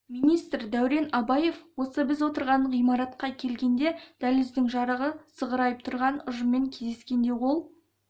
министр дәурен абаев осы біз отырған ғимаратқа келгенде дәліздің жарығы сығырайып тұрған ұжыммен кездескенде ол